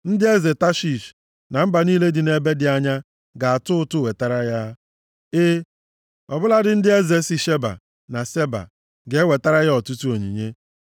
Ndị eze Tashish + 72:10 Obodo Tashish dị nʼala Spen, ọ nọchiri anya nsọtụ nke ụwa, \+xt 2Ih 9:21\+xt* na mba niile dị nʼebe dị anya, ga-atụ ụtụ wetara ya; e, ọ bụladị ndị eze si Sheba na Seba, + 72:10 Ala Sheba dị nʼArebịa, ebe ala Seba dị nʼAfrika. ga-ewetara ya ọtụtụ onyinye.